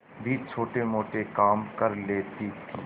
भी छोटेमोटे काम कर लेती थी